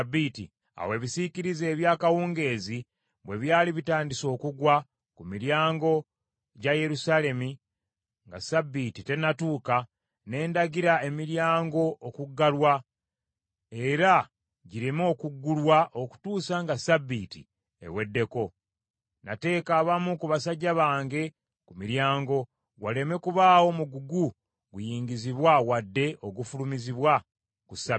Awo ebisiikirize ebya kawungeezi bwe byali bitandise okugwa ku miryango gya Yerusaalemi, nga Ssabbiiti tennatuuka, ne ndagira emiryango okuggalwa era gireme okuggulwa okutuusa nga Ssabbiiti eweddeko. Nateeka abamu ku basajja bange ku miryango, waleme kubaawo mugugu guyingizibwa wadde ogufulumizibwa ku Ssabbiiti.